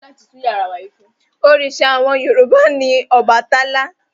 Òrìṣà àwọn Yorùbá ni Ọbàtálá.